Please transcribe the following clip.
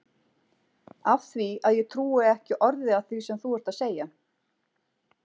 Af því að ég trúi ekki orði af því sem þú ert að segja.